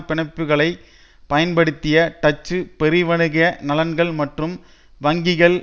பிணைப்புக்களை பயன்படுத்திய டச்சு பெருவணிக நலன்கள் மற்றும் வங்கிகள்